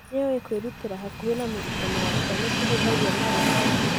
nĩũĩ kwĩrutĩra hakuhi na mũrutani wakwa ni kũhũthagia maũndũ